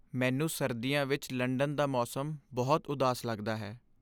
ਮੈਨੂੰ ਸਰਦੀਆਂ ਵਿੱਚ ਲੰਡਨ ਦਾ ਮੌਸਮ ਬਹੁਤ ਉਦਾਸ ਲੱਗਦਾ ਹੈ।